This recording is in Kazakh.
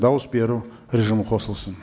дауыс беру режимі қосылсын